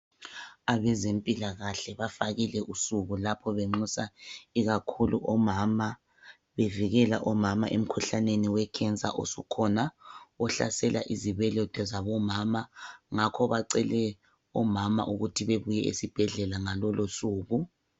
Abezempilakahle bafakile usuku lapho benxusa ikakhulu omama bevikela omama emkhuhlaneni we"cancer" osukhona ohlasela izibeletho zabo mama ngakho bacele omama ukuthi bebuye esibhedlela ngalolo suku.